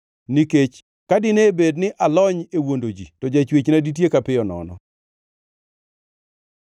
nikech ka dine bed ni alony e wuondo ji to Jachwechna ditieka piyo nono.